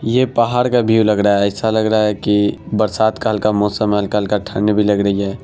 ये पहाड का व्यू लग रहा है ऐसा लग रहा है की बरसात का हल्का मौसम है हल्का - हल्का ठंड भी लग रही है।